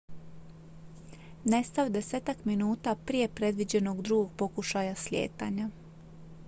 nestao je desetak minuta prije predviđenog drugog pokušaja slijetanja